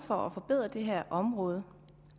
for at forbedre det her område